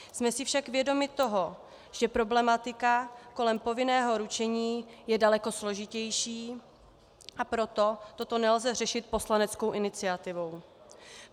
Jsme si však vědomi toho, že problematika kolem povinného ručení je daleko složitější, a proto toto nelze řešit poslaneckou iniciativou.